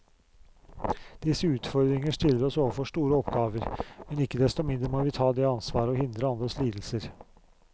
Disse utfordringer stiller oss overfor store oppgaver, men ikke desto mindre må vi ta det ansvaret og hindre andres lidelser.